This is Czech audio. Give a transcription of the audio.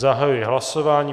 Zahajuji hlasování.